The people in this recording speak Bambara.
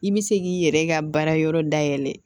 I bɛ se k'i yɛrɛ ka baarayɔrɔ dayɛlɛ